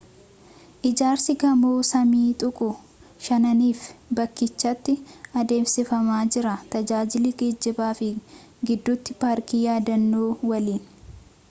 ijaarsii gamoo samii tuquu shananiif bakkichatti adeemsifamaa jira tajaajila geejiiba fi gidduuti paarkii yaadannoo waliin